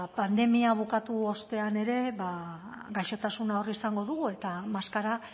pandemia bukatu ostean ere ba gaixotasuna hor izango dugu eta maskara